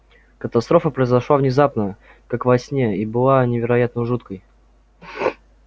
катастрофа произошла внезапно как во сне и была невероятно жуткой